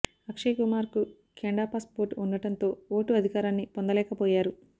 అక్షయ్ కుమార్ కు Canada passport ఉండడంతో ఓటు అధికారాన్ని పొందలేకపోయారు